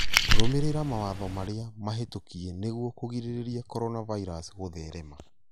Rũmĩrĩra mawatho marĩa mahĩtũkie nĩguo kũgirĩrĩrĩa coronavirus gũtherema